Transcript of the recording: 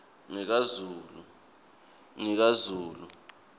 ngikazulu